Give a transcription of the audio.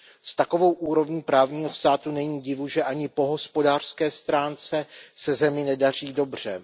S takovou úrovní právního státu není divu, že ani po hospodářské stránce se zemi nedaří dobře.